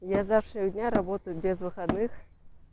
я с завтрашнего работаю без выходных